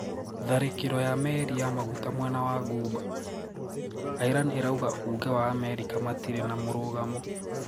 Tharĩkĩro ya meri ya maguta mwena wa Ghuba: Iran irauga uuge wa Amerika matire na mũrugamo